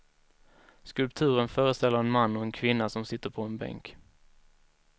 Skulpturen föreställer en man och en kvinna som sitter på en bänk.